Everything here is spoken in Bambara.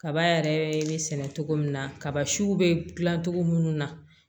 Kaba yɛrɛ be sɛnɛ cogo min na kaba siw be dilan cogo munnu na